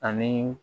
Ani